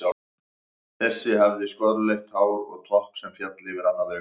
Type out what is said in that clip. Þessi hafði skolleitt hár og topp sem féll yfir annað augað.